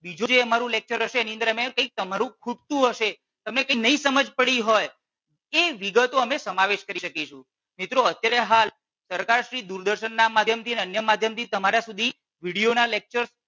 બીજો જે અમારો લેકચર હશે એની અંદર અમે કઈક તમારું જે ખૂટતું હશે તમને જે નહીં ખબર પડી હોય એ વિગતો અમે સમાવેશ કરી શકીશું. મિત્રો અત્યારે હાલ સરકાર શ્રી દૂરદર્શન ના માધ્યમ થી અન્ય માધ્યમ થી તમારા સુધી વિડિયો ના લેકચર